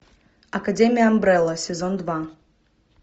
академия амбрелла сезон два